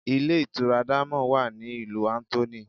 Ilé ìtura diamond wa ní ìlú Anthony.